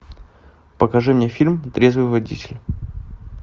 покажи мне фильм трезвый водитель